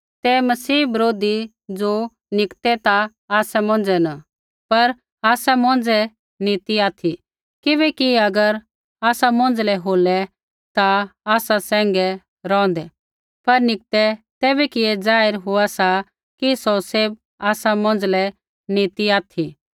तै मसीह बरोधी ज़ो निकतै ता आसा मौंझ़ै न पर आसा मौंझ़ै नी ती ऑथि किबैकि अगर आसा मौंझ़लै होलै ता आसा सैंघै रौंहदै पर निकतै तैबै कि ऐ जाहिर हो कि सौ सैभ आसा मौंझ़लै नी ती ऑथि